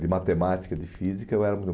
de matemática e de física, eu era